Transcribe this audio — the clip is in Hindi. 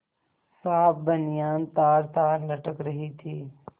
साफ बनियान तारतार लटक रही थी